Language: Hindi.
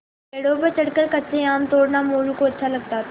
पेड़ों पर चढ़कर कच्चे आम तोड़ना मोरू को अच्छा लगता था